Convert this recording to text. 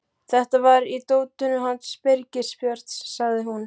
Þetta var í dótinu hans Birgis Björns, sagði hún.